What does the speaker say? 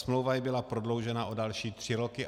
Smlouva jí byla prodloužena o další tři roky.